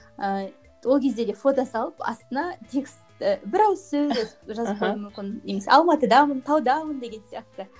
ііі ол кезде де фото салып астына текст і бір ауыз сөз жазып қоюуым мүмкін немесе алматыдамын таудамын деген сияқты